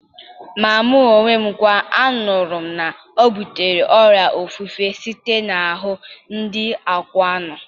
Ma mụ onwe m kwa, anụrụ m na ọ butere ọrịa ofufe site n'ahụ ndị akwụna.